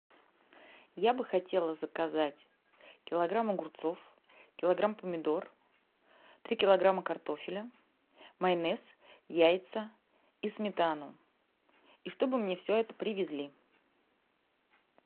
я бы хотела заказать килограмм огурцов килограмм помидор три килограмма картофеля майонез яйца и сметану и чтобы мне все это привезли